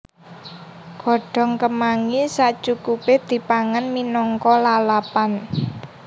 Godhong kemangi sacukupé dipangan minangka lalapan